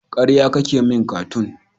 Karya kake min Katung.